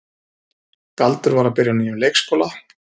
Galdur var að byrja á nýjum leikskóla.